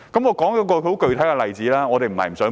我舉一個具體的例子。